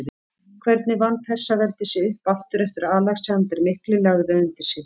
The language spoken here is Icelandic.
Hvernig vann Persaveldi sig upp aftur eftir að Alexander mikli lagði það undir sig?